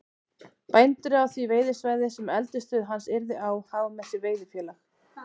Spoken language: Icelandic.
Bændur á því veiðisvæði, sem eldisstöð hans yrði á, hafa með sér veiðifélag